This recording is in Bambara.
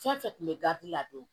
Fɛn fɛn kun bɛ gafe la don